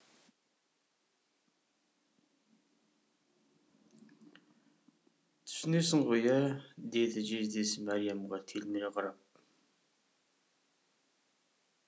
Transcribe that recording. түсінесің ғой ә деді жездесі мәриямға телміре қарап